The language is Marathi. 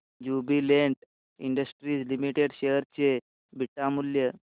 ज्युबीलेंट इंडस्ट्रीज लिमिटेड शेअर चे बीटा मूल्य